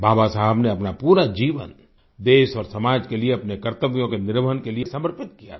बाबा साहब ने अपना पूरा जीवन देश और समाज के लिये अपने कर्तव्यों के निर्वहन के लिये समर्पित किया था